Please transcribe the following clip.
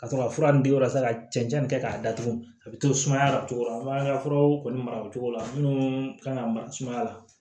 Ka sɔrɔ ka fura nin di walasa ka cɛncɛn kɛ k'a datugu a bɛ to sumaya la cogo min an ka furaw kɔni mara o cogo la minnu kan ka mara sumaya la